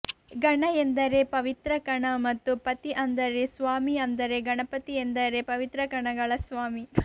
ಗಣ ಎಂದರೆ ಪವಿತ್ರಕಣ ಮತ್ತು ಪತಿ ಅಂದರೆ ಸ್ವಾಮಿ ಅಂದರೆ ಗಣಪತಿ ಎಂದರೆ ಪವಿತ್ರಕಣಗಳ ಸ್ವಾಮಿ